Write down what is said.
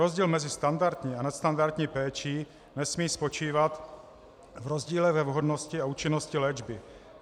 Rozdíl mezi standardní a nadstandardní péčí nesmí spočívat v rozdíle ve vhodnosti a účinnosti léčby.